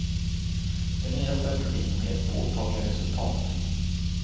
Den nya strategin har gett påtagliga resultat.